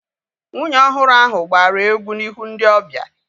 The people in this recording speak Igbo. Nwunye ọhụrụ ahu gbara egwu n'ihu ndị ọbịa